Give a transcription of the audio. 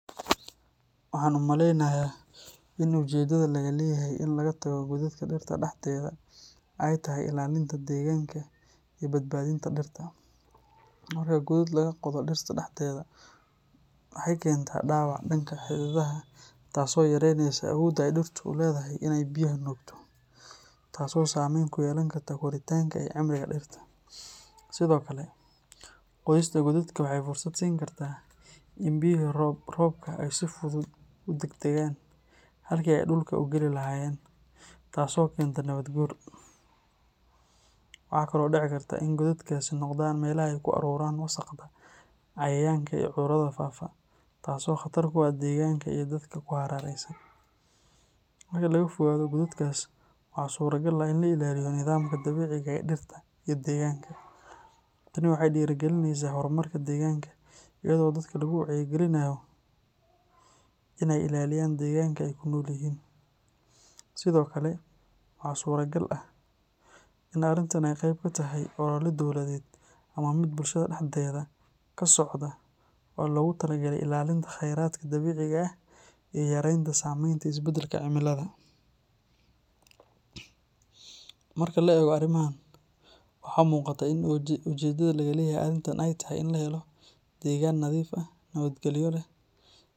Waxaan u maleynayaa in ujeedada laga leeyahay in laga tago godadka dhirta dhexdeeda ay tahay ilaalinta deegaanka iyo badbaadinta dhirta. Marka godad laga qodo dhirta dhexdeeda waxay keentaa dhaawac dhanka xididada ah taasoo yareyneysa awoodda ay dhirtu u leedahay in ay biyaha nuugto, taasoo saameyn ku yeelan karta koritaanka iyo cimriga dhirta. Sidoo kale, qodista godadka waxay fursad siin kartaa in biyaha roobka ay si fudud u daadagaan halkii ay dhulka u geli lahaayeen, taasoo keenta nabaad guur. Waxaa kaloo dhici karta in godadkaasi noqdaan meelaha ay ku ururaan wasaqda, cayayaanka iyo cudurrada faafa, taasoo khatar ku ah deegaanka iyo dadka ku hareeraysan. Marka laga fogaado godadkaas waxaa suuragal ah in la ilaaliyo nidaamka dabiiciga ah ee dhirta iyo deegaanka. Tani waxay dhiirrigelinaysaa horumarka deegaanka iyadoo dadka lagu wacyigelinayo in ay ilaaliyaan deegaanka ay ku nool yihiin. Sidoo kale, waxaa suuragal ah in arrintan ay qayb ka tahay olole dowladeed ama mid bulshada dhexdeeda ka socda oo loogu talagalay ilaalinta khayraadka dabiiciga ah iyo yareynta saamaynta isbeddelka cimilada. Marka la eego arrimahan, waxaa muuqata in ujeedada laga leeyahay arrintan ay tahay in la helo deegaan nadiif ah, nabadgelyo leh.